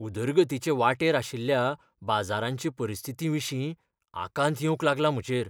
उदरगतीचे वाटेर आशिल्ल्या बाजारांचे परिस्थितीविशीं आकांत येवंक लागला म्हजेर.